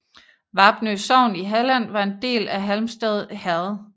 Vapnø sogn i Halland var en del af Halmstad herred